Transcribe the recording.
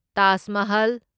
Taj Mahal